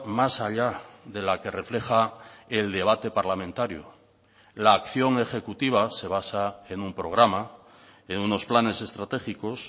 más allá de la que refleja el debate parlamentario la acción ejecutiva se basa en un programa en unos planes estratégicos